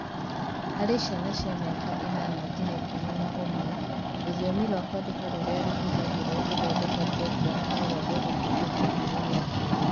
Harĩ ciana cia mĩaka 8-11, rũthiomi rwa kwandĩka rũrĩa rũhũthagĩrũo gũthondeka programu no rwage gũtuĩka kĩambĩrĩria kĩega.